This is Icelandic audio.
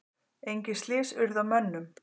Engin slys urðu á mönnum.